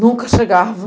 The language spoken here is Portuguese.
Nunca chegava.